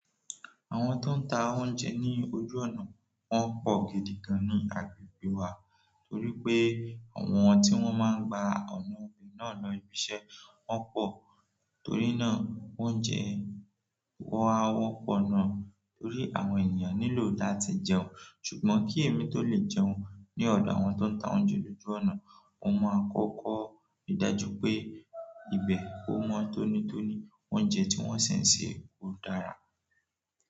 Àwọn tó ń ta oúnjẹ ní ojú ọ̀nà, wọ́n pọ̀ gidi gan ní agbègbè wá torí pé àwọn tí wọ́n máa ń gba ọ̀nà náà lọ ibi iṣẹ́ wọ́n pọ̀ torí náà oúnjẹ wọ́n á wọ́pọ̀ náà torí àwọn ènìyàn nílò láti jẹun ṣùgbọ́n kí èmi tó lè jẹun ní ọ̀dọ̀ àwọn tó ń ta oúnjẹ lóju ọ̀nà mo máa kọ́kọ́ rí dájú pé ibẹ̀ o mọ́ tónítóní oúnjẹ tí wọ́n dẹ̀ n ṣe, ò dára.